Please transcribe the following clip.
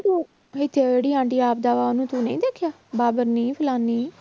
ਤੂੰ ਇੱਥੇ ਉਹਨੂੂੰ ਤੂੰ ਨਹੀਂ ਦੇਖਿਆ ਫ਼ਲਾਨੀ